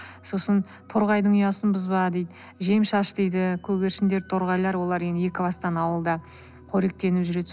сосын торғайдың ұясын бұзба дейді жем шаш дейді көгершіндер торғайлар олар енді екібастан ауылда қоректеніп жүреді